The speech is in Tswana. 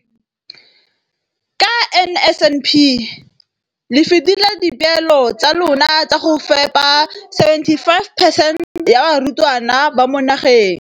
Ka NSNP le fetile dipeelo tsa lona tsa go fepa masome a supa le botlhano a diperesente ya barutwana ba mo nageng.